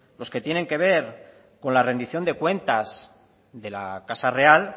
los que tienen que ver con la rendición de cuentas de la casa real